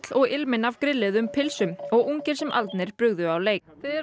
og ilminn af grilluðum pylsum og ungir sem aldnir brugðu á leik þið eruð á